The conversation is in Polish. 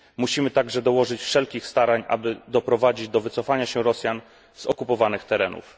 Musimy także dołożyć wszelkich starań, aby doprowadzić do wycofania się Rosjan z okupowanych terenów.